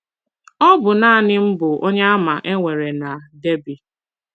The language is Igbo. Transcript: Ọ bụ nanị m bụ Onyeàmà e nwere na Derby.